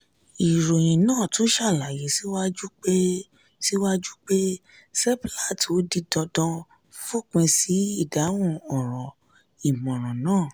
ìròyìn náà tún ṣàlàyé síwájú pé síwájú pé seplat ó di dandan fòpin sí àdéhùn ọ̀rọ̀-ìmọ̀ràn náà.